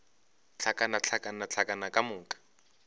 hlakana hlakana hlakana ka moka